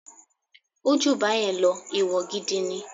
Ó jù báyẹn lọ, ẹ̀wọ̀ gidi ni.